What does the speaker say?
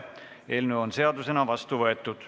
Eelnõu on seadusena vastu võetud.